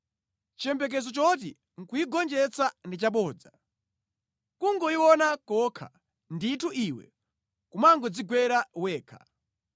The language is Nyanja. Chiyembekezo choti nʼkuyigonjetsa ndi chabodza; kungoyiona kokha, ndithu iwe kumangodzigwera wekha.